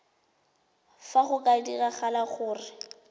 fa go ka diragala gore